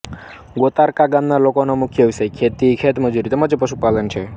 ગોતારકા ગામના લોકોનો મુખ્ય વ્યવસાય ખેતી ખેતમજૂરી તેમ જ પશુપાલન છે